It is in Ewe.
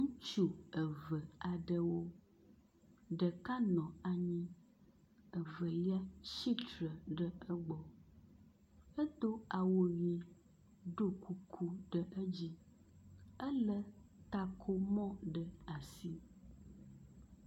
Ŋutsu eve aɖewo ɖeka nɔ anyi Evelia tsitre ɖe egbɔ hedo awu ʋi ɖo kuku ɖe edzi. Ele takomɔ ɖe asi.